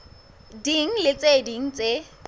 ding le tse ding tse